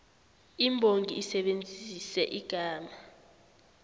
imbongi isebenzise igama